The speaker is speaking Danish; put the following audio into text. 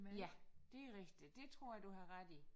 Ja det rigtigt det tror jeg du har ret i